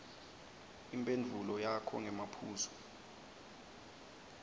imphendvulo yakho ngemaphuzu